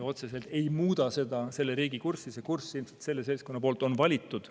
Otseselt see ei muuda selle riigi kurssi, see kurss ilmselt selle seltskonna poolt on valitud.